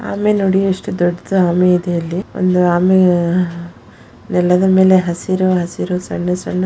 ಆಮೆ ನೋಡಿ ಎಷ್ಟು ದೊಡ್ಡದು ಆಮೆ ಇದೆ ಇಲ್ಲಿ ಒಂದು ಆಮೆ ನೆಲದ ಮೇಲೆ ಹಸಿರು ಹಸಿರು ಸಣ್ಣ ಸಣ್ಣ --